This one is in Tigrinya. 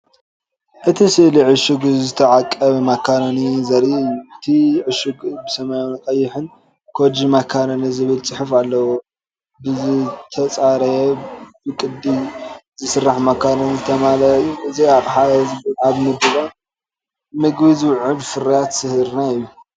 እቲ ስእሊ ዕሹግ ዝተዓቀበ ማካሮኒ ዘርኢ እዩ። እቲ ዕሹግ ብሰማያውን ቀይሕን “ኮጅ ማካሮኒ” ዝብል ጽሑፍ ኣለዎ። ብዝተጸረየ፡ ብቅዲ ዝስራሕ ማካሮኒ ዝተመልአ እዩ። እዚ ኣቕሓ እዚ ኣብ ምድላው ምግቢ ዝውዕል ፍርያት ስርናይ እዩ።